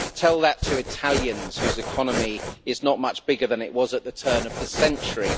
Tell that to Italians, whose economy is not much bigger than it was at the turn of the century!